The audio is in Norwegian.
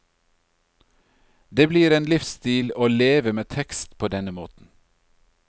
Det blir en livsstil å leve med tekst på denne måten.